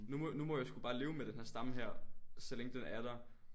Nu må nu må jeg sgu bare leve med den her stammen her så længe den er her